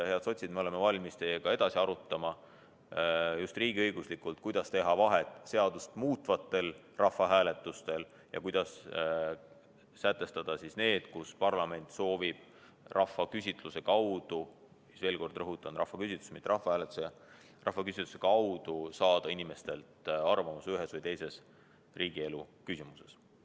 Head sotsid, me oleme valmis teiega riigiõiguslikult edasi arutama, kuidas teha vahet seadust muutvatel rahvahääletustel ja sellistel hääletustel, mille korral parlament soovib rahvaküsitluse – ma veel kord rõhutan: rahvaküsitluse, mitte rahvahääletuse – kaudu saada inimestelt arvamust ühes või teises riigielu küsimuses.